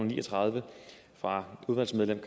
ni og tredive fra udvalgsmedlem